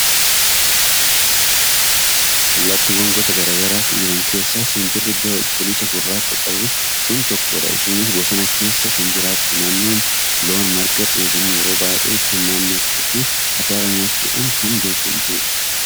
Allaattiiwwan gosa garaa garaa jiran keessaa simbirri bifa cuquliisa gurraacha qabdu kun tokkodha. Isheenis bosona keessa kan jiraattu, naannoo loon marga dheedhan yeroo baay'ee kan naannoftuu fi atarii nyaachuudhaan kan beekamtudha.